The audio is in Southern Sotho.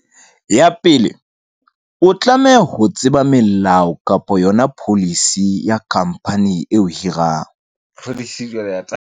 Ya pele o tlameha ho tseba melao kapa yona policy ya company eo hirang .